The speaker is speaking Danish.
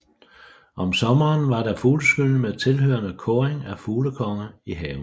Om sommeren var der fugleskydning med tilhørende kåring af fuglekonge i haven